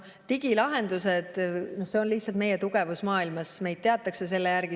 Digilahendused on lihtsalt meie tugevus maailmas, meid teatakse selle järgi.